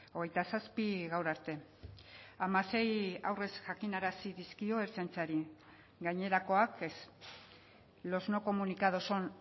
hogeita zazpi gaur arte hamasei aurrez jakinarazi dizkio ertzaintzari gainerakoak ez los no comunicados son